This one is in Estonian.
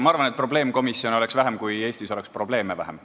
Ma arvan, et probleemkomisjone oleks vähem, kui Eestis oleks probleeme vähem.